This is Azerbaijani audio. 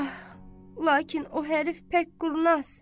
Ah, lakin o hərif pək qurnaz.